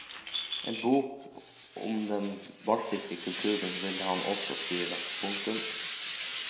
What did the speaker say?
En bok om den baltiske kulturen vil han også skrive. punktum